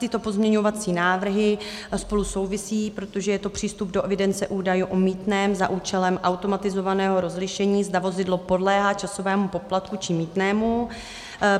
Tyto pozměňovací návrhy spolu souvisejí, protože je to přístup do evidence údajů o mýtném za účelem automatizovaného rozlišení, zda vozidlo podléhá časovému poplatku či mýtnému.